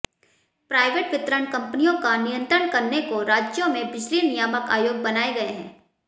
private वितरण कंपनियों का नियंत्रण करने को राज्यों में बिजली नियामक आयोग बनाए गए है